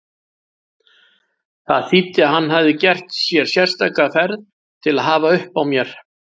Það þýddi að hann hafði gert sér sérstaka ferð til að hafa uppi á mér.